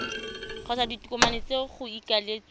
kgotsa ditokomane tse go ikaeletsweng